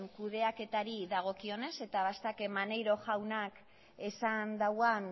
kudeaketari dagokionez eta maneiro jaunak esan dauan